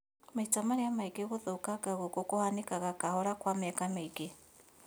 Maita marĩa maingĩ gũthũkanga gũkũ kũhanĩkaga kahora, kwa mĩaka mĩingĩ